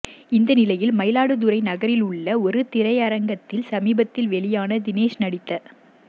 இந்த நிலையில் மயிலாடுதுறை நகரில் உள்ள ஒரு திரையரங்கத்தில் சமீபத்தில் வெளியான தினேஷ் நடித்த